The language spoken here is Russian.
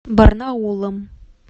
барнаулом